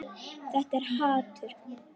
Þetta er hatur.